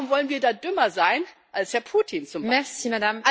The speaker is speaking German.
Warum wollen wir da dümmer sein als Herr Putin zum Beispiel?